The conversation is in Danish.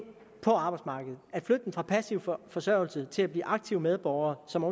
på arbejdsmarkedet at flytte dem fra passiv forsørgelse til at blive aktive medborgere som